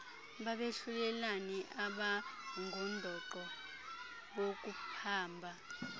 babehlulelani abangundoqo bokuphamba